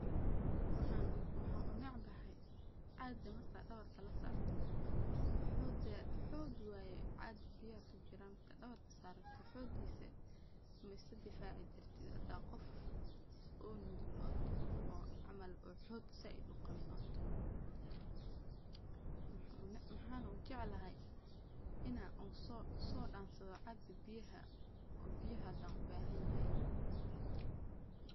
Waxaa unebcahay caga marka dawarka lasarto xoga xog waye caga biyaha kujiran marka dawarka sarato xogisa ma iska difaci kartid hada qof oo nugul oo toho oo camal xog zaid u qawin. Maxa na ujeclhy inaa oo so donsadho caga biyaha oo biyaha hadan ubahanyahay.